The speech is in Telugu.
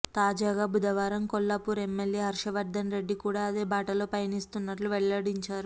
తాజాగా బుధవారం కొల్లా పూర్ ఎమ్మెల్యే హర్షవర్ధన్ రెడ్డి కూడా అదే బాటలో పయనిస్తున్నట్లు వెల్లడించారు